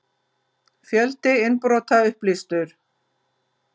Fjöldi innbrota upplýstur